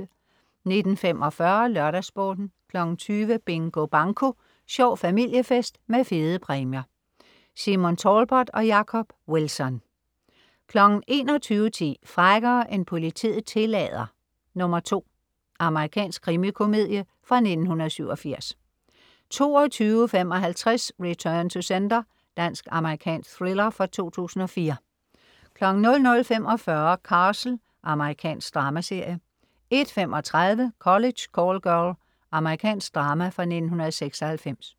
19.45 LørdagsSporten 20.00 Bingo Banko. Sjov familiefest med fede præmier. Simon Talbot og Jacob Wilson 21.10 Frækkere end politiet tillader 2. Amerikansk krimikomedie fra 1987 22.55 Return to Sender. Dansk-amerikansk thriller fra 2004 00.45 Castle. Amerikansk dramaserie 01.35 College Call Girl. Amerikansk drama fra 1996